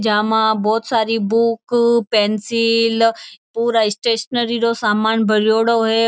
जामा बोहोत सारी book pencil पूरा स्टेशनरी रो सामान भरियोडो है।